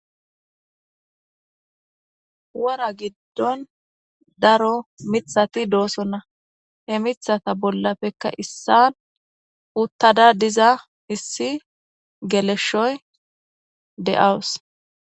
wara giddon daro miththati doosona he miththata bollafekka issan uttada diza issi geleshshoy de'awus